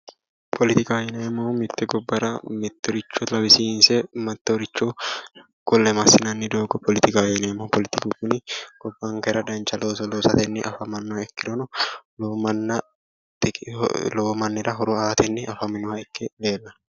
Politikaho yineemmohu mite gobbara mittoricho lawisiinse mittoricho ku'le masinanni doogo politikaho yineemmo. politiku gobbankera dancha looso loosate afamanoha ikkirono lowo mannira horo aateni afamanoha ikke leellanno